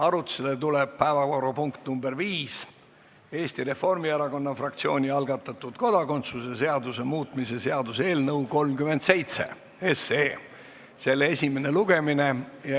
Arutusele tuleb viies päevakorrapunkt, Eesti Reformierakonna fraktsiooni algatatud kodakondsuse seaduse muutmise seaduse eelnõu 37 esimene lugemine.